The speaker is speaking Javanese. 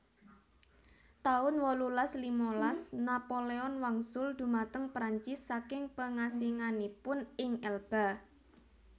taun wolulas limalas Napoleon wangsul dhumateng Prancis saking pengasinganipun ing Elba